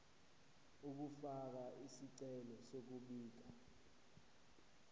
ukufaka isicelo sokubika